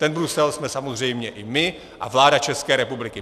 Ten Brusel jsme samozřejmě i my a vláda České republiky.